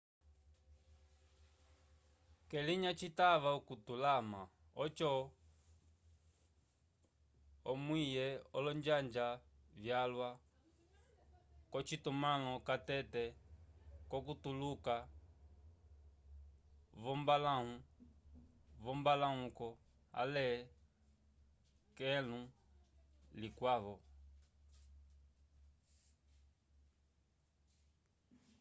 k'elinya citava okutalama oco omwiwe olonjanja vyalwa k'ocitumãlo catete k'okutuluka v'ombalãwu v'ombaluku ale k'ekãlu likwavo